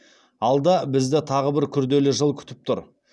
алда бізді тағы бір күрделі жыл күтіп тұр